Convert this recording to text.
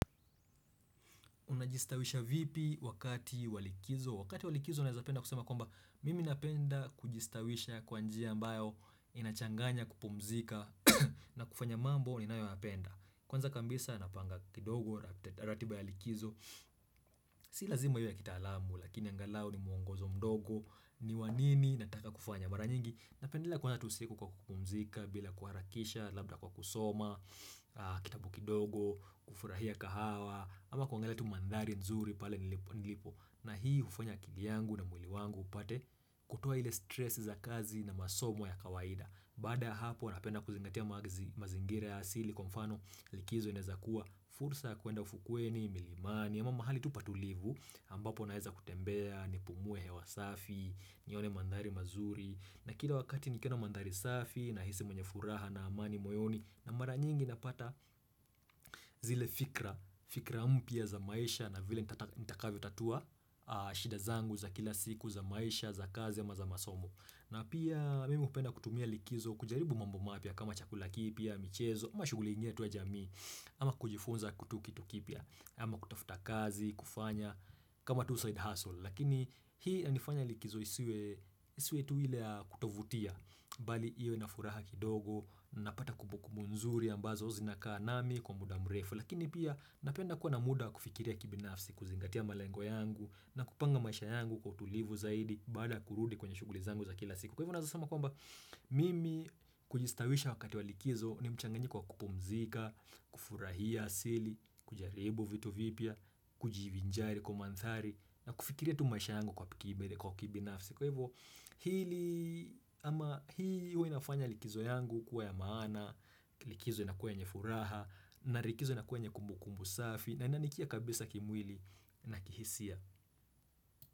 Unajistawisha vipi wakati walikizo? Wakati walikizo naezapenda kusema kwamba mimi napenda kujistawisha kwa njia ambayo inachanganya kupumzika na kufanya mambo ninayoyapenda. Kwanza kambisa napanga kidogo rat ratiba ya likizo. Si lazima iwe ya kitaalamu lakini angalau ni muongozo mdogo niwa nini nataka kufanya mara nyingi. Napendelea kuanza tu siku kwa kupumzika bila kuharakisha, labda kwa kusoma, kitabu kidogo, kufurahia kahawa ama kuangalia tu mandhari nzuri pale nilipo nilipo. Na hii hufanya akili yangu na mwili wangu upate kutoa ile stress za kazi na masomo ya kawaida. Bada hapo napenda kuzingatia mazi mazingira ya asili kwa mfano likizo inaezakua. Fursa ya kuenda ufukweni, milimani, ama mahali tu patulivu, ambapo naeza kutembea, nipumue hewa safi, nione mandhari mazuri. Na kila wakati nikiona mandhari safi nahisi mwenye furaha na amani moyoni na mara nyingi napata zile fikra, fikra mpya za maisha na vile nitata nitakavyotatua shida zangu za kila siku za maisha za kazi ama za masomo. Na pia mimi hupenda kutumia likizo kujaribu mambo mapya kama chakula kipya, michezo, ama shuguli ingine tu ya jamii. Ama kujifunza kutu kitu kipya, ama kutafuta kazi, kufanya kama tu side hustle. Lakini hii yanifanya likizo isiwe isiwe tu ile ya kutovutia Bali iyo inafuraha kidogo, napata kubukubu nzuri ambazo zinakaa nami kwa muda mrefu. Lakini pia napenda kuwa na muda wakufikiria kibinafsi, kuzingatia malengo yangu na kupanga maisha yangu kwa utulivu zaidi baada ya kurudi kwenye shuguli zangu za kila siku. Kwa hivyo naeza sema kwamba mimi kujistawisha wakati walikizo ni mchanganyiko wa kupumzika kufurahia asili, kujaribu vitu vipia, kujivinjari kwa manthari na kufikiria tu maisha yangu kwa pikibede kwa kibinafsi Kwa hivyo hili ama hii huwa inafanya likizo yangu kuwa ya maana Likizo inakuwa yenye furaha na rikizo inakuwa yenye kumbu kumbu safi, na inanikia kabisa kimwili na kihisia.